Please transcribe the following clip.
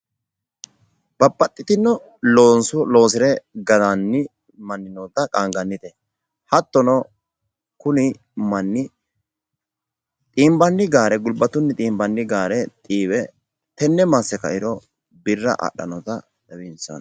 babaxitino looso loose galanni manni noota qaangannite hattono kuni manii tenne xiiwe masse kairo birra adhannota tawinsanni.